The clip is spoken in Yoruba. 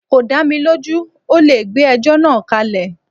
Kò dá mi lójú, ọ́ le gbé ẹjọ́ náà kálẹ̀.